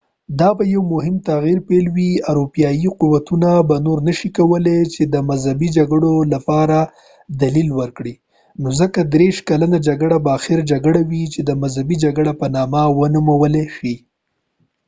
دا به د یو مهم تغیر پیل وي اروپایي قوتونه به نور نشي کولاي چې د مذهبي جګړو لپاره دلیل ولري نو ځکه دیرش کلنه جګړه به آخري جګړه وي چې د مذهبي جګړې په نامه ونومول شي